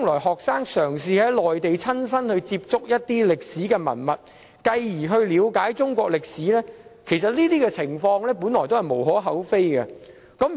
學生嘗試返回內地，親身接觸一些歷史文物，繼而了解中國歷史，本來是無可厚非的。